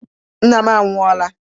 Nna m anwu- ọla